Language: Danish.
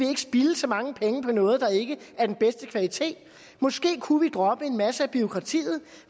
spilde så mange penge på noget der ikke er den bedste kvalitet at de måske kunne droppe en masse af bureaukratiet at de